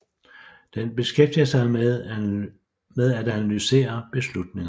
Den beskæftiger sig med at analysere beslutninger